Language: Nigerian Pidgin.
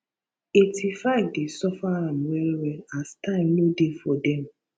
85 dey suffer am well well as time no dey for dem